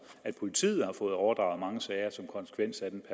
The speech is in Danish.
at politiet har fået overdraget mange sager som konsekvens af den